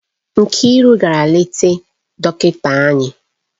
Nkiru gara leta dọkịta anya?